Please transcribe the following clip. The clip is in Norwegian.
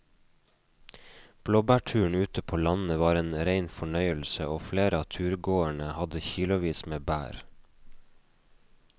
Blåbærturen ute på landet var en rein fornøyelse og flere av turgåerene hadde kilosvis med bær.